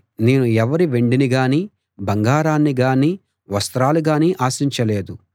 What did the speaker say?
నేను ఎవరి వెండినిగానీ బంగారాన్నిగానీ వస్త్రాలుగానీ ఆశించలేదు